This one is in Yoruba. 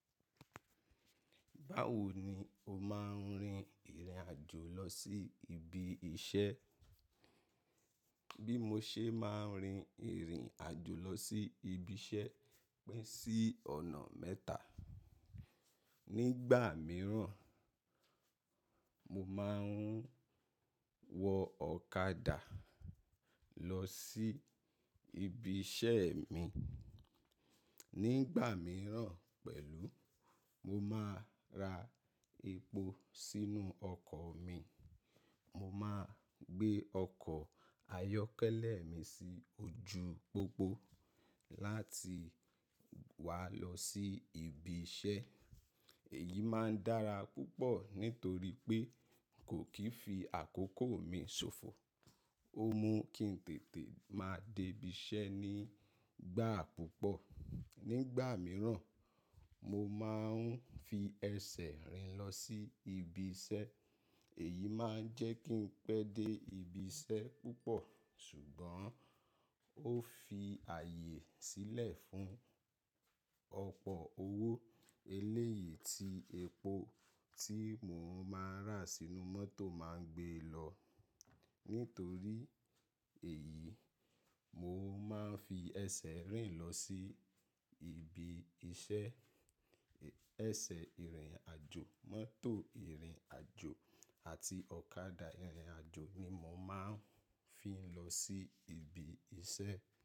Báwo ni o máa ń rin ìrìn àjò lọ sí ibi iṣẹ́? Bí mo ṣe máa ń rin ìrìn àjò lọ sí ibi iṣẹ́ pín sí ọ̀nà mẹ́ta. Nígbà mìíràn, mo máa ń wọ ọ̀kadà lọ sí ibi iṣẹ́ mi. Nígbà mìíràn pẹ̀lú, mo máa ra epo sínú ọkọ̀ mi. Mo máa gbé ọkọ̀ ayọ́kẹ́lẹ́ mi sí ojú pópó láti wá lọ sí ibi iṣẹ́. Èyí máa ń dára púpọ̀ nítorí pé kò kí ń fi àkókò mi ṣòfò. Ó mú kí n tètè máa dé ibi iṣẹ́ nígbà púpọ̀. Nígbà mìíràn, mo máa ń fi ẹsẹ̀ rìn lọ sí ibi iṣẹ́. Èyí máa ń jẹ́ kí n pẹ́ dé ibi iṣẹ́ púpọ̀ ṣùgbọ́n ó fi ààyè sílẹ̀ fún ọ̀pọ̀ owó eléyìí tí epo tí mò ń máa rà sínú mọ́tò máa ń gbé lọ. Nítorí èyí, mo máa ń fi ẹsẹ̀ rìn lọ sí ibi iṣẹ́. Ẹsẹ̀ ìrìn àjò, mọ́tò ìrìn àjò àti ọ̀kadà ìrìn àjò ni mo máa ń fi lọ sí ibi iṣẹ́.